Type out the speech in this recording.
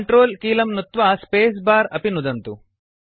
control कीलं नुत्वा space bar अपि नुदन्तु